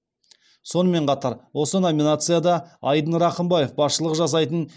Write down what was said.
сонымен қатар осы номинацияда айдын рақымбаев басшылық жасайтын